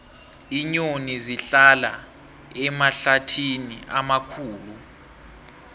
iinyoni zihlala emahlathini amakhulu